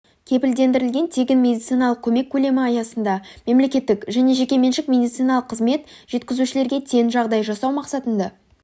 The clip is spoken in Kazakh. кепілдендірілген тегін медициналық көмек көлемі аясында мемлекеттік және жекеменшік медициналық қызмет жеткізушілерге тең жағдай жасау мақсатында